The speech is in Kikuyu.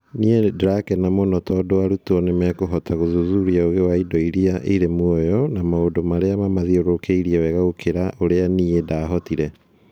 Nĩ ndĩrakena mũno tondũ arutwo nĩ mekũhota gũthuthuria ũgĩ wa indo iria irĩ muoyo na maũndũ marĩa mamathiũrũrũkĩirie wega gũkĩra ũrĩa niĩ ndaahotire.